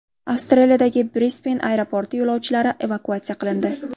Avstraliyadagi Brisben aeroporti yo‘lovchilari evakuatsiya qilindi.